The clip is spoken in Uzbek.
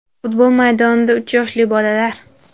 Futbol maydonida – uch yoshli bolalar.